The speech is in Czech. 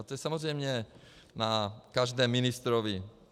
A to je samozřejmě na každém ministrovi.